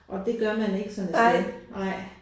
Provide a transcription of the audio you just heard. Og det gør man ikke sådan et sted nej